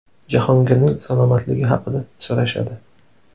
Jahongirning salomatligi haqda so‘rashadi.